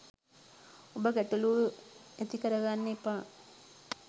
ඔබ ගැටලූ ඇති කරගන්න එපා